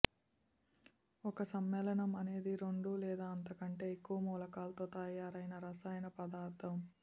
ఒక సమ్మేళనం అనేది రెండు లేదా అంతకంటే ఎక్కువ మూలకాలతో తయారైన రసాయన పదార్ధం